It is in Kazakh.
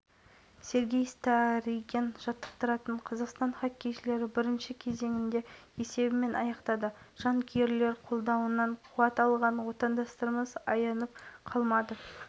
сергей старыгин жаттықтыратын отандастарымыз алғашқы кезеңің өзінде жауапсыз шайба соқты жерлестеріміз келесі кездесуін қаңтарда швеция құрамасымен